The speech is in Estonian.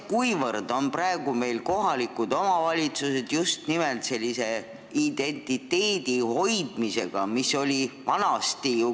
Kui valmis on kohalikud omavalitsused tegelema just nimelt identiteedi hoidmisega?